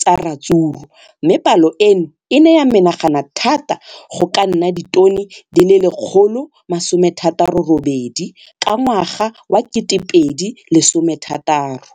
tsa ratsuru mme palo eno e ne ya menagana thata go ka nna ditone di le 168 ka ngwaga wa 2016.